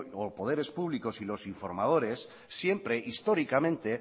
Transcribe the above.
o poderes públicos y los informadores siempre históricamente